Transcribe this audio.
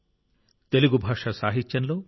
మీ అందరికీ తెలుగు దినోత్సవ శుభాకాంక్షలు